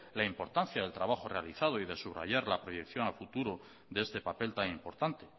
la importancia del trabajo realizado y de subrayar la proyección al futuro de este papel tan importante